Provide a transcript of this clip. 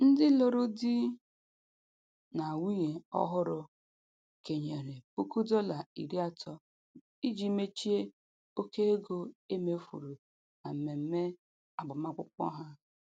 Ndị lụrụ di na nwunye ọhụrụ kenyere puku dọla iri atọ iji mechie oke ego e mefuru na mmemme agbamakwụkwọ ha.